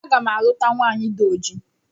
A ga m a luta nwaanyị dị oji.